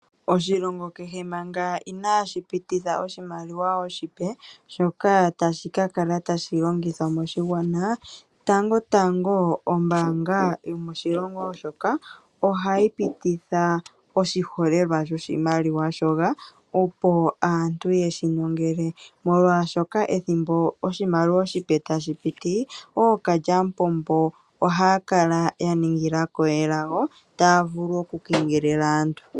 Oshilongo kehe manga inaashi pititha oshimaliwa oshipe shoka tashi ka kala tashi longithwa moshigwana, tango tango ombaanga yomoshilongo moka ohayi pititha oshiholelwa shoshimaliwa shoka opo aantu yeshi nongele, molwaashoka ethimbo oshimaliwa oshipe tashi piti ookalyamupombo ohaya kala ya ningila ko elago taya vulu oku kengelela aantu.